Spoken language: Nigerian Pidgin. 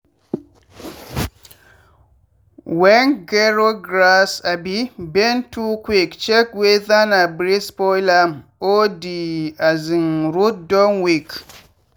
wen gero grass um bend too quick check weather na breeze spoil am or di um root don weak.